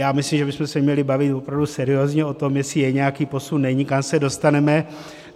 Já myslím, že bychom se měli bavit opravdu seriózně o tom, jestli je nějaký posun, není, kam se dostaneme.